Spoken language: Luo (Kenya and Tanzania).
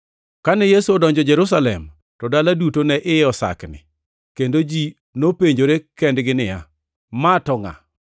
Kane Yesu odonjo Jerusalem to dala duto ne iye osakni kendo ji nopenjore kendgi niya, “Ma to ngʼa?”